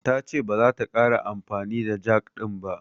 Ta ce baza ta ƙara amfani da jag ɗin ba.